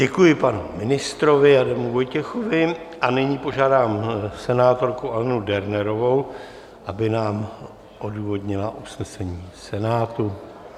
Děkuji panu ministrovi Adamu Vojtěchovi a nyní požádám senátorku Alenu Dernerovou, aby nám odůvodnila usnesení Senátu.